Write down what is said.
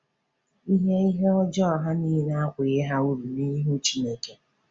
Ihe Ihe ọjà ha niile akwụghị ha uru n’ihu Chineke.